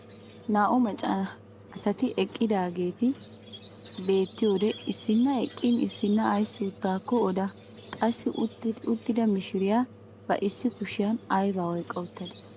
Naa"u macca asati eqqidaageti beettiyoode issina eqqin issina ayssi uttidaako oda? qassi uttida mishiriyaa ba issi kushiyaan aybaa oyqqa uttadee?